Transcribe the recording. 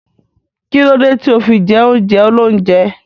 Kílódé tí o fi jẹ oúnjẹ óloúnjẹ?